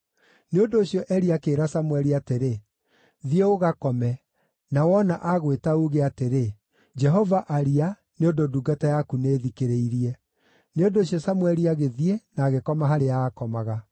Nĩ ũndũ ũcio Eli akĩĩra Samũeli atĩrĩ, “Thiĩ ũgakome, na wona aagwĩta uuge atĩrĩ, ‘Jehova, aria, nĩ ũndũ ndungata yaku nĩĩthikĩrĩirie.’ ” Nĩ ũndũ ũcio Samũeli agĩthiĩ, na agĩkoma harĩa aakomaga.